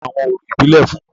Tani ń ṣe awọn orȯ ibile fun u?